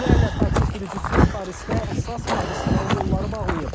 Yüzlərlə taksi sürücüsü Parisdə əsas magistral yolları bağlayıb.